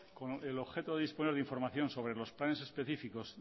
el objeto de disponer información sobre los planes específicos